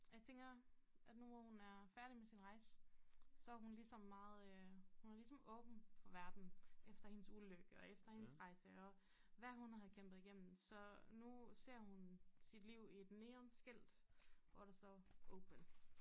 Og jeg tænker at nu hvor hun er færdig med sin rejse så hun ligesom meget øh hun er ligesom åben for verden efter hendes ulykke og efter hendes rejse og hvad hun havde kæmpet igennem så nu ser hun sit liv i et neon skilt hvor der står open